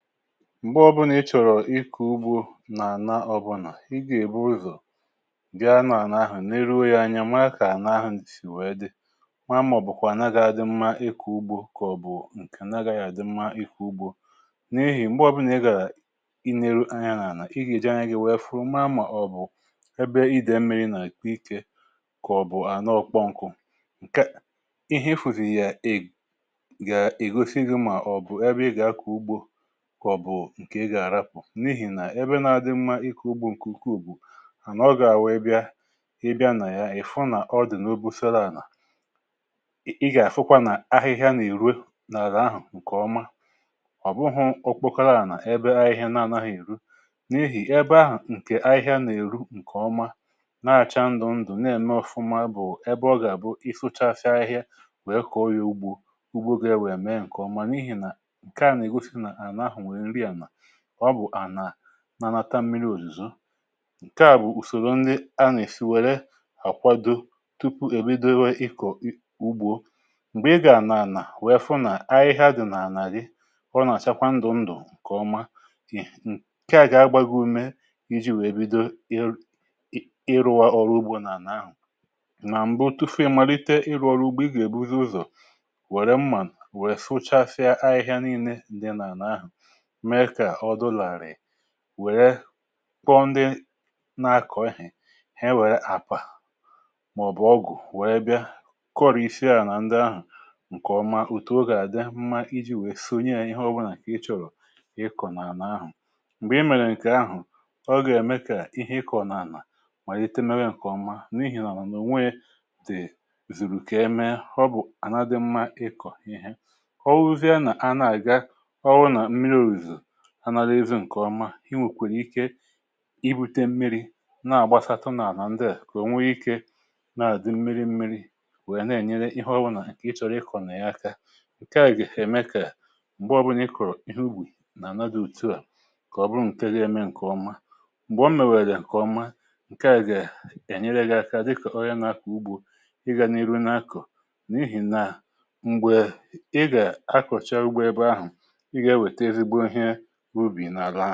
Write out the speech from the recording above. m̀gbè ọbụnà ịchọ̀rọ̀ ịkụ̇ farm nà-ànà ọbụnà ịgà èbụrụzọ̀ gà ana-ànà ahụ̀ n’iru ya anya, màkà ànà ahụ̀ sì wee dị ma màọ̀bụ̀kwà anagà adị mmȧ, ịkụ̇ farm kà ọ̀ bụ̀ ǹkè anagà yà àdị mmȧ, ikù farm n’ehì, m̀gbè ọbụnà ịgà i nė ru anya n’ànà, i gȧ-èji anya gị wẹfụ maa màọ̀bụ̀ ebe ịdị̀ mmiri nà ikė kà ọ̀ bụ̀ ànọọ kpọmkụ̇, ǹkè ihe ifùzì yà è ga ègosi gị̇ mà ọ̀ bụ̀ ebe ị gà akọ̀ farm, n’ihi nà ebe nà adị mma ịkọ̀ farm ǹkè ukwuù à nọ gà wèe bịa ịbịa nà ya, ị̀ fụ nà ọ dị̀ n’obufele ànà, ị gà àfụkwa nà ahịhịa nà èru na àlà ahụ̀ ǹkèọma ọ̀ bụhụ okpokala ànà, ebe ahịhịa na anahị èru n’ehì, ebe ahụ̀ ǹkè ahịhịa nà èru ǹkèọma na-acha ndụ̀ ndụ̀ na-ème ọ̀fụma bụ̀ ebe ọ gà àbụ. ị fụcha afịa ahịhịa wèe kọ̀ọ ya farm, farm gȧ ebe è mee ǹkèọma, n’ihi nà ọ bụ̀ ànà nà-anata mmiri òzùzo, ǹkèa bụ̀ ùsòrò ndị a nà-èsi wère àkwado tupu èbido ihe ịkọ̀ farm. m̀gbè ị gà-ànà ànà wèe fụ nà ahịhịa dị̀ nà-àrị, ọ nà-àchakwa ndụ̀ ndụ̀ ǹkèọma. ǹkèa gà-agbȧghi ume iji̇ wèe bido ịrụ̇wa ọrụ farm nà ànà ahụ̀. nà m̀bụ tufu malite ịrụ̇ ọrụ farm, ị gà-èbuzi ụzọ̀ wèrè mmà wèrè sụchasịa ahịhịa nille ǹdị nà ànà ahụ̀, wèe kọọ ndị na-akọ̀ ehì he, wèe àpà màọ̀bụ̀ ọgụ̀ wèe bịa kọrị̀ isi ahụ̀ nà ndị ahụ̀ ǹkèọma. òtù ogè àdị mma iji̇ wèe sonye ahụ̀ ihe ọbụlà kà ị chọ̀rọ̀ ịkọ̀ n’ànà ahụ̀, m̀gbè i mèrè nà ǹkè ahụ̀ ọgọ̀ ème kà ihe ịkọ̀ n’ànà mà ètemere ǹkèọma, n’ihì nà ò nweè dè zùrù kà eme họ bụ̀ ànaghị̇ dị mma ịkọ̀ ihė ọ wụzie nà a na-àga anàlụihu ǹkèọma. inwèkwèrè ike ibutė mmiri̇ nà-àgbasatụ nà ànà ndịà kà ònwe ike nà-àdị mmiri mmiri̇ nwèrè na-ènyere ihe ọbụnà ǹkè ị chọ̀rọ̀ ịkọ̀ nà-àka, ǹke à gị̀ ème kà m̀gbè ọbụnà ị kọ̀rọ̀ ihu farm nà àna dị òtu à kà ọ bụrụ ǹke ga-eme ǹkèọma, m̀gbè ọ m nwèrè dị̀ ǹkèọma, ǹke à gị̀ ènyere gị̇ aka dịkà ọrịa n’akò farm, ị gà n’ihu n’akọ̀, n’ihì nà m̀gbè ị gà akọ̀cha farm ebe ahụ̀, ubì na-àlà.